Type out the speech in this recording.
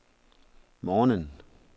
morgenen